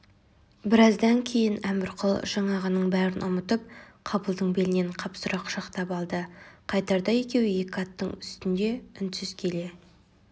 біраздан кейін әмірқұл жаңағының бәрін ұмытып қабылдың белінен қапсыра құшақтап алды қайтарда екеуі екі аттың үстінде үнсіз келе